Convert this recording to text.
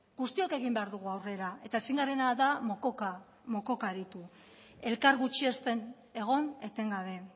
guztiok egin behar dugu aurrera eta ezin garena da mokoka aritu elkar gutxiesten egon etengabe